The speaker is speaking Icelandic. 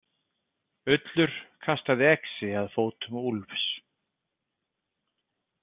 Ullur kastaði exi að fótum Úlfs.